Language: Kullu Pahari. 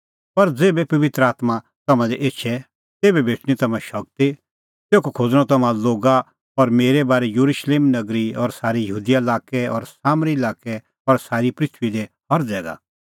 पर ज़ेभै पबित्र आत्मां तम्हां दी एछे तेभै भेटणीं तम्हां शगती तेखअ खोज़णअ तम्हां लोगा मेरै बारै येरुशलेम नगरी और सारै यहूदा लाक्कै और सामरी लाक्कै और सारी पृथूई दी हर ज़ैगा